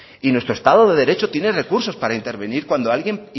y nuestro estado de derecho tiene recursos cuando alguien